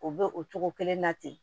O bɛ o cogo kelen na ten